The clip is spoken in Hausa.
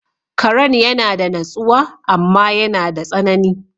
Karan yana da natsuwa amma yana da tsanani.